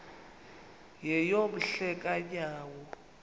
yeyom hle kanyawo